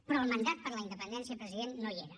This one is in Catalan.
però el mandat per a la independència president no hi era